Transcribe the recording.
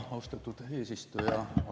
Austatud eesistuja!